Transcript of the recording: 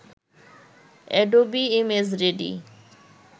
Adobe ImageReady